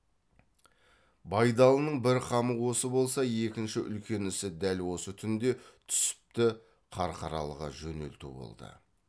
байдалының бір қамы осы болса екінші үлкен ісі дәл осы түнде түсіпті қарқаралыға жөнелту болды